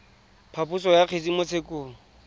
phaposo ya kgetse mo tshekong